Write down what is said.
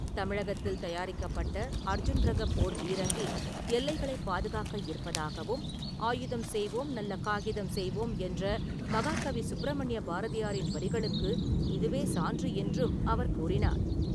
தமிழகத்தில் தயாரிக்கப்பட்ட அர்ஜுன் ரக போர் பீரங்கி எல்லைகளைப் பாதுகாக்க இருப்பதாகவும், ஆயுதம் செய்வோம், நல்ல காகிதம் செய்வோம் என்ற மகாகவி சுப்ரமணிய பாரதியாரின் வரிகளுக்கு இதுவே சான்று என்றும் அவர் கூறினார்.